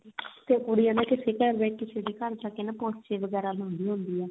ਤੇਕੁੜੀ ਹਨਾ ਕਿਸੀ ਦੇ ਘਰ ਕਿਸੀ ਦੇ ਘਰ ਜਾ ਕੇ ਪੋਚੇ ਵਗੈਰਾ ਲਾਉਂਦੀ ਹੁੰਦੀ ਆ